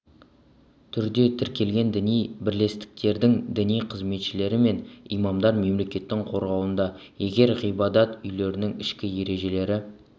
түрде тіркелген діни бірлестіктердің діни қызметшілері мен имамдар мемлекеттің қорғауында егер ғибадат үйлерінің ішкі ережелері